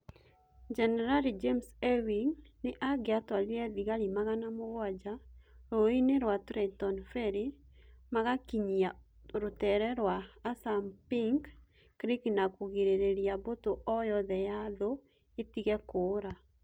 Jenerali James Ewing nĩ angĩatwarire thigari magana mũgwanja rũũĩ-inĩ rwa Trenton Ferry, magakinyia rũtere rwa Assunpink Creek na kũgirĩrĩria mbũtũ o yothe ya thũ ĩtige kũũra.